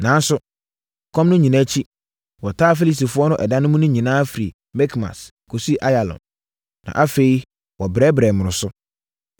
Nanso, ɛkɔm no nyinaa akyi, wɔtaa Filistifoɔ no ɛda mu no nyinaa firi Mikmas, kɔsii Ayalon. Na afei, wɔbrɛbrɛɛ mmoroso.